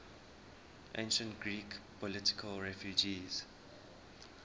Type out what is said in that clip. ancient greek political refugees